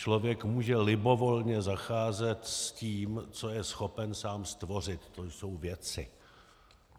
Člověk může libovolně zacházet s tím, co je schopen sám stvořit, to jsou věci.